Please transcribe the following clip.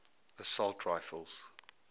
assault rifles